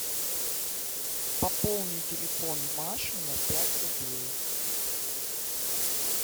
пополни телефон маши на пять рублей